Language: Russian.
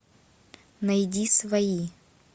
найди свои